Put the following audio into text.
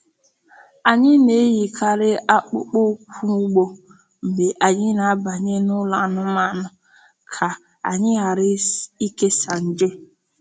Anyị na-eyikarị akpụkpọ ụkwụ ugbo mgbe anyị na-abanye n’ụlọ anụmanụ ka anyị ghara ikesa nje.